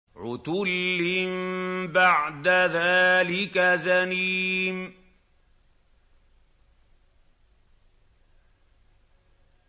عُتُلٍّ بَعْدَ ذَٰلِكَ زَنِيمٍ